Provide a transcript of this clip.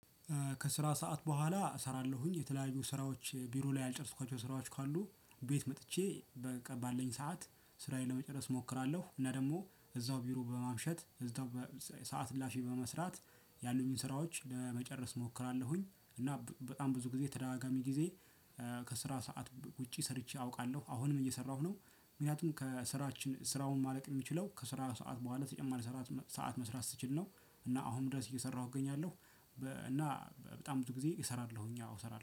ከስራ ሰዓት በኋላ እሰራለሁኝ የተለያዩ ስራዎች ቢሮ ላይ ያልጨረስኳቸው ስራዎች ካሉ ቤት መጥቼ በቃ ባለን ሰዓት ስራዬን ለመጨረስ እሞክራለሁ እና ደግሞ እዛው ቢሮ በማምሸት እዛው ሰዓት እላፊ በመስራት ያሉኝን ስራዎች ለመጨረስ እሞክራለሁኝ እና በጣም ብዙ ጊዜ ተደጋጋሚ ጊዜ ከስራ ሰዓት ውጪ ሰርቼ አውቃለሁ አሁንም እየሰራሁ ነው። ምክንያቱም ከስራችን ስራውም ማለቅ የሚችለው ከስራ ሰዓት በኋላ ተጨማሪ ሰዓት መስራት ስችል ነው። እና አሁን ድረስ እየሰራሁ እገኛለሁ። እና በጣም ብዙ ጊዜ እሰራለሁኝ ያው